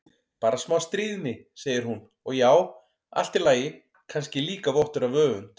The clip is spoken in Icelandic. Bara smá stríðni, segir hún, og já, allt í lagi, kannski líka vottur af öfund.